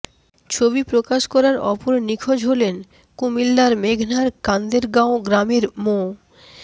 ছবি প্রকাশ করা অপর নিখোঁজ হলেন কুমিল্লার মেঘনার কান্দেরগাঁও গ্রামের মো